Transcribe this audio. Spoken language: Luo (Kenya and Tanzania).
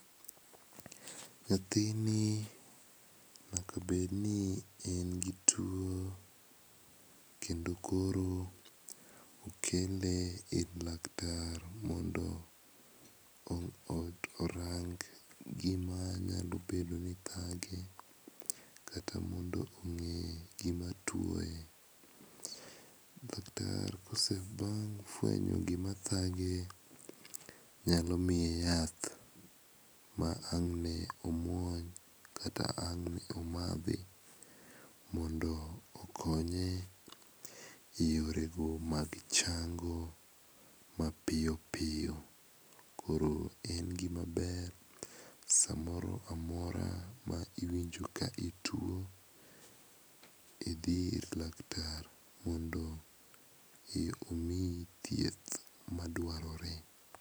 Nyathini nyaka bed ni en gi tuo. Kendo koro okel ir laktar mondo orang gima nyaka bed ni thage kata mondo o ng'e gima tuoye. Laktar kosefuenyo gima thage nyalo miye yath ma ang' ne omuony kata ang' ne omadhi mondo okonye eyorego mag chango mapiyo piyo. Koro en gima ber samoro amora ma iwinjo ka ituo, idhi ir laktar mondo omiyi thieth madwarore.